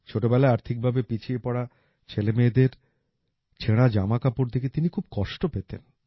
ছোটবেলায় আর্থিকভাবে পিছিয়ে পড়া ছেলেমেয়েদের ছেঁড়া জামাকাপড় দেখে তিনি খুব কষ্ট পেতেন